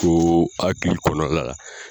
Ko hakili kɔnɔna la.